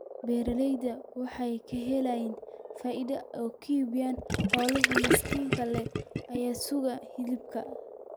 Beeralaydu waxay ka helaan faa�iido ay ku iibiyaan xoolaha miisaanka leh ee suuqa hilibka.